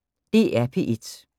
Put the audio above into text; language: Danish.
DR P1